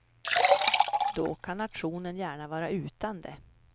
Då kan nationen gärna vara utan det.